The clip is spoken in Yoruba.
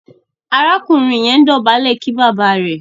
arákùnrin yẹ ǹ dobale kí bàbá rẹ